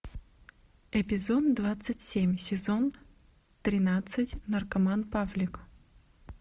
эпизод двадцать семь сезон тринадцать наркоман павлик